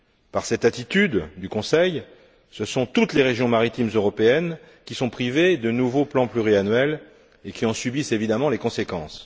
Par cette attitude du Conseil, ce sont toutes les régions maritimes européennes qui sont privées de nouveaux plans pluriannuels et qui en subissent évidemment les conséquences.